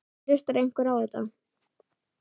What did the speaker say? En hlustar einhver á þetta?